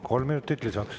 Kolm minutit lisaks.